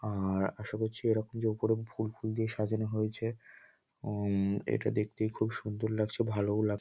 আর আশা করছি এরকম যে উপরে ফুল ফুল দিয়ে সাজানো হয়েছে উম এটা দেখতে খুব সুন্দর লাগছে ভালোও লা --